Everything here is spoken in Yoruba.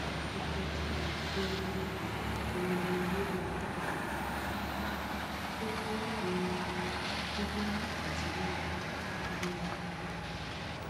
itọju um wo ni o nilo fun um dida ati yiya annular